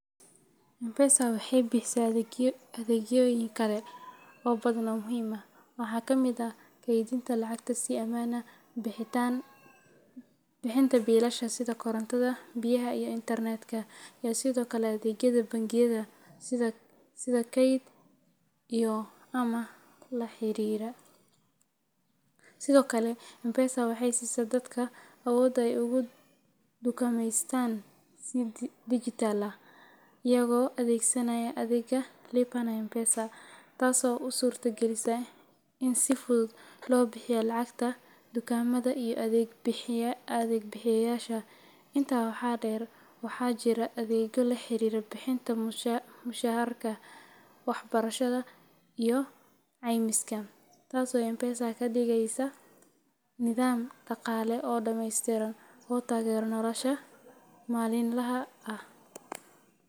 M-Pesa waxay bixisaa adeegyoyin kale oo badan oo muhiim ah. Waxaa ka mid ah kaydinta lacagta si ammaan ah, bixinta biilasha sida korontada, biyaha, iyo internet-ka, iyo sidoo kale adeegyada bangiyada sida kayd iyo amaah la xiriira. Sidoo kale, M-Pesa waxay siisaa dadka awood ay ugu dukaameystaan si dijitaal ah iyagoo adeegsanaya adeegga Lipa na M-Pesa, taasoo u suurta gelisa in si fudud loo bixiyo lacagaha dukaamada iyo adeeg bixiyeyaasha. Intaa waxaa dheer, waxaa jira adeegyo la xiriira bixinta mushaharka, waxbarashada, iyo caymiska, taasoo M-Pesa ka dhigaysa nidaam dhaqaale oo dhameystiran oo taageera nolosha maalinlaha ah.